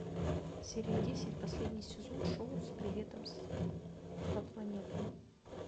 серия десять последний сезон шоу с приветом по планетам